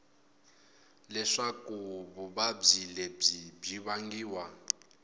leswaku vuvabyi lebyi byi vangiwa